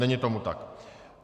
Není tomu tak.